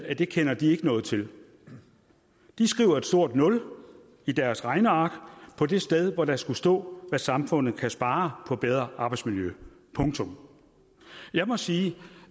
at det kender de ikke noget til de skriver et stort nul i deres regneark på det sted hvor der skulle stå hvad samfundet kan spare på bedre arbejdsmiljø punktum jeg må sige